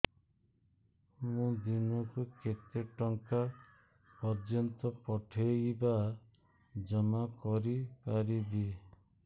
ମୁ ଦିନକୁ କେତେ ଟଙ୍କା ପର୍ଯ୍ୟନ୍ତ ପଠେଇ ବା ଜମା କରି ପାରିବି